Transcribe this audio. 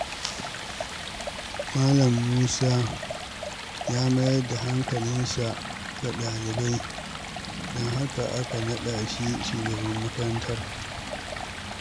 Malam Musa ya mayar da hankalinsa ga ɗalibai, don haka aka naɗa shi shugaban makarantar.